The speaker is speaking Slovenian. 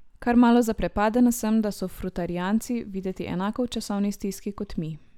Kar malo zaprepadena sem, da so frutarijanci videti enako v časovni stiski kot mi.